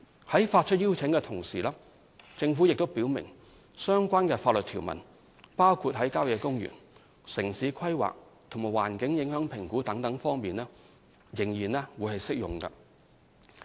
在發出邀請的同時，政府亦表明相關的法律條文，包括在郊野公園、城市規劃和環境影響評估各方面，仍然適用。